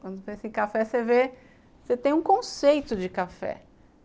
Quando pensa em café, você vê, você tem um conceito de café.